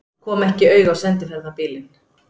Kom ekki auga á sendiferðabílinn.